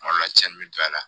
Kuma dɔ la cɛn bɛ don a la